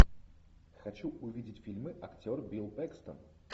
хочу увидеть фильмы актер билл пэкстон